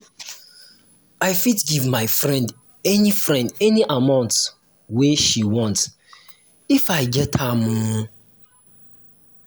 i fit give my friend any friend any amount wey she want if i get am o.